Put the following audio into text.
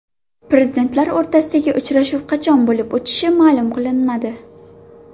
Prezidentlar o‘rtasidagi uchrashuv qachon bo‘lib o‘tishi ma’lum qilinmadi.